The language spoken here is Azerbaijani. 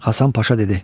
Hasan Paşa dedi: